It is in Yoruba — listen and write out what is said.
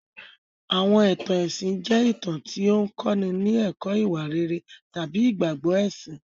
Àwọn ìtàn ẹ̀sìn jẹ́ ìtàn tí ó ń kọ́ni ní ẹ̀kọ́ ìwà rere tàbí ìgbàgbọ́ ẹ̀sìn.